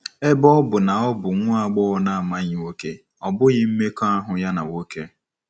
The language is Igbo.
Ebe ọ bụ na ọ bụ nwa agbọghọ na-amaghị nwoke, ọ bụghị mmekọahụ ya na nwoke.